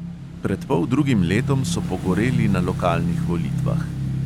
Pred poldrugim letom so pogoreli na lokalnih volitvah.